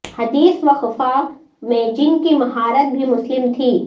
حدیث و فقہ میں جن کی مہارت بھی مسلم تھی